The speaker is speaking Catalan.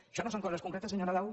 això no són coses concretes senyor nadal